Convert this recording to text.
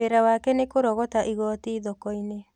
Wĩra wake nĩ kũrogota igoti thoko-inĩ